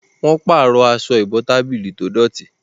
wón parọ Aṣọ ìbotábílì tó dọti